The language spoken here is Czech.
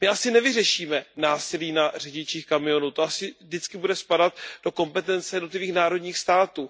My asi nevyřešíme násilí na řidičích kamionů, to asi vždy bude spadat do kompetence jednotlivých národních států.